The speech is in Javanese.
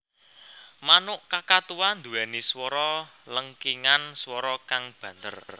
Manuk kakatua nduwéni swara lengkingan swara kang banter